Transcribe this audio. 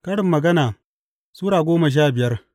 Karin Magana Sura goma sha biyar